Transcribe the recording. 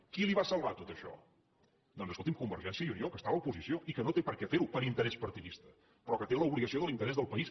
qui li va salvar tot això doncs escolti’m convergència i unió que està a l’oposició i que no té per què fer ho per interès partidista però que té l’obligació de l’interès del país